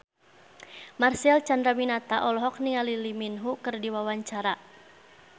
Marcel Chandrawinata olohok ningali Lee Min Ho keur diwawancara